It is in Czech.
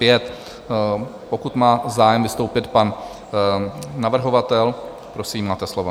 Pokud má zájem vystoupit pan navrhovatel, prosím, máte slovo.